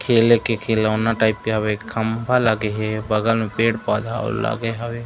खेले के खिलौना टाइप के हवे एक खम्भा लगे हे बगल में पेड़-पौधा आऊ लगे हवे।